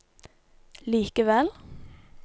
likevel